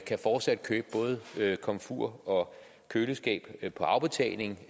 kan fortsat købe både komfur og køleskab på afbetaling